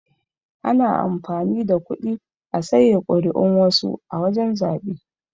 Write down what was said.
Ana amfani da kuɗi a saye kuri'un wasu a wajan zabe.